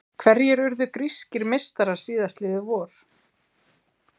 Hverjir urðu grískir meistarar síðastliðið vor?